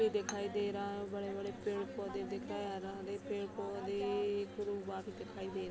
दिखाई दे रहा है। बड़े-बड़े पेड़ पौधे दिख रहे हैं। हरे-हरे पेड़ पौधे दिखाई दे रहे --